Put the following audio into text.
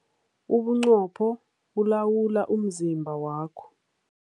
Ubuqopho bulawula umzimba wakho.